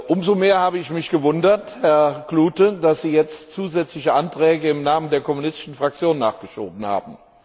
Umso mehr habe ich mich gewundert, Herr Klute, dass Sie jetzt zusätzliche Anträge im Namen der kommunistischen Fraktion nachgeschoben haben.